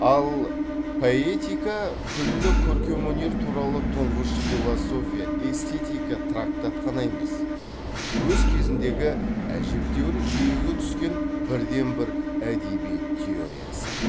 ал поэтика күллі көркемөнер туралы тұңғыш философия эстетика трактат қана емес өз кезіндегі әжептеуір жүйеге түскен бірден бір әдебиет теориясы